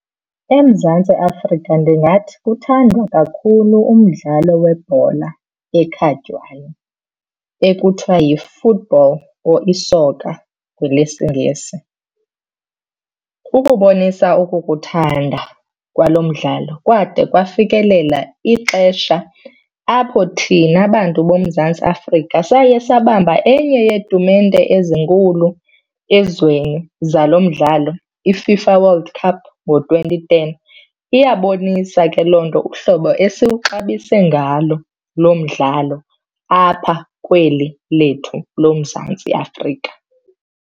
EMzantsi Afrika ndingathi kuthandwa kakhulu umdlalo webhola ekhatywayo ekuthiwa yi-football or isoka ngelesiNgesi. Ukubonisa ukukuthanda kwalo mdlalo kwade kwafikelela ixesha apho thina bantu boMzantsi Afrika saye sabamba enye yeetumente ezinkulu ezweni zalo mdlalo, iFIFA World Cup ngo-twenty ten. Iyabonisa ke loo nto uhlobo esiwuxabise ngalo lo mdlalo apha kweli lethu loMzantsi Afrika.